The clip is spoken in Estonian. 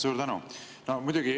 Suur tänu!